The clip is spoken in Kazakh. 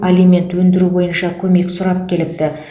алимент өндіру бойынша көмек сұрап келіпті